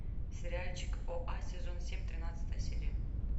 сериальчик оа сезон семь тринадцатая серия